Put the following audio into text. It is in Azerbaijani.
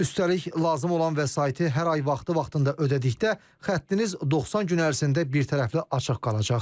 Üstəlik, lazım olan vəsaiti hər ay vaxtı-vaxtında ödədikdə xəttiniz 90 gün ərzində birtərəfli açıq qalacaq.